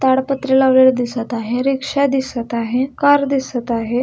ताडपत्री लावलेल दिसत आहे रिक्षा दिसत आहे कार दिसत आहे.